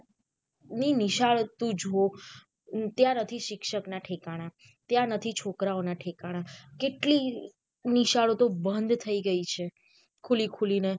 ની નિશાળોતું જો નથી શિક્ષક ના ઠિકાના ત્યાં નથી છોકરાઓ ના ઠિકાના કેટલી નિશાળો તો બંદ થઇ ગઈ છે ખુલી ખુલી ને.